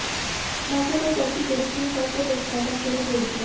मौके पर पहुंची पुलिस ने शव को पोस्टमार्टम के लिए भेज दिया